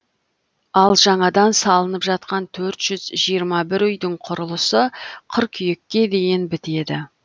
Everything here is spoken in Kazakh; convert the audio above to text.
ал жаңадан салынып жатқан төрт жүз жиырма бір үйдің құрылысы қыркүйекке дейін бітеді